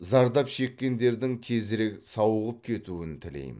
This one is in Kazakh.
зардап шеккендердің тезірек сауығып кетуін тілеймін